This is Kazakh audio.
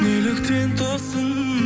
неліктен тосын